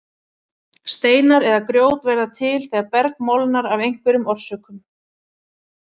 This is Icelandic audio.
Steinar eða grjót verða til þegar berg molnar af einhverjum orsökum.